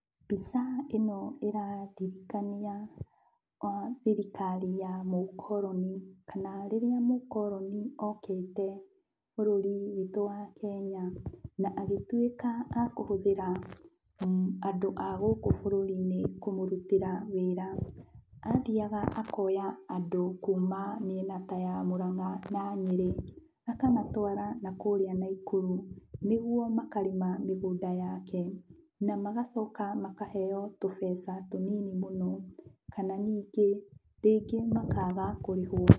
Mbica ĩno ĩrandirikania thirikari ya mũkoroni kana rĩrĩa mũkoroni okĩte bũrũri witũ wa Kenya, na agĩtuĩka a kũhũthĩra andũ a gũkũ bũrũri-inĩ kũmũrutĩra wĩra. Athiaga akoya andũ kuma mĩena ta ya Mũranga na Nyĩrĩ, akamatwara nakũrĩa Naikuru, nĩguo makarĩma mĩngũnda yake, na magacoka makaheo tũbeca tũnini mũno, kana ningĩ, rĩngĩ makaga kũrĩhwo.